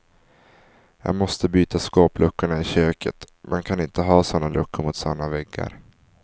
Jag måste byta skåpluckorna i köket, man kan inte ha såna luckor mot såna väggar.